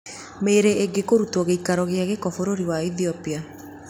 Mĩĩrĩ ĩngĩ kũrutwo gĩikaro kĩa gĩko Bũrũri wa Ethiopia